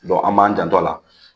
an b'an janto a la